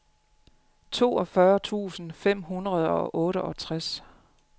toogfyrre tusind fem hundrede og otteogtres